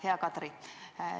Hea Kadri!